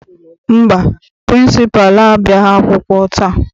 Mba, pịrịnsịpalụ abịaghị akwụkwọ taa.